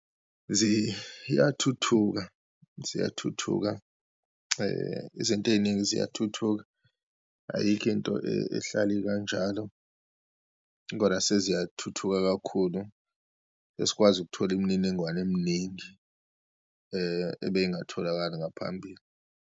Ziyathuthuka, ziyathuthuka izinto eyiningi ziyathuthuka, ayikho into ehlala ikanjalo, kodwa seziyathuthuka kakhulu. Sesikwazi ukuthola imininingwane eminingi ebe ingatholakali ngaphambili.